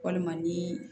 Walima ni